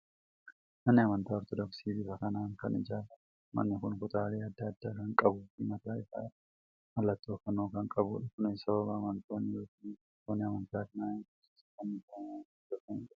Manni amantaa Ortoodoksii bifa kanaan kan ijaaramudha. Manni kun kutaalee adda addaa kan qabuu fi mataa isaa irraa mallattoo fannoo kan qabudha. Kunis sababa amantootni yookiin hordoftoonni amantaa kanaa Yesuus isa fannifame waan hordofanidha.